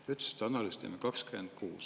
Te ütlesite, et analüüsi teeme 2026.